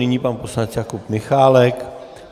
Nyní pan poslanec Jakub Michálek.